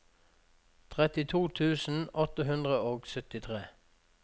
trettito tusen åtte hundre og syttitre